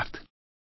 ধন্যবাদ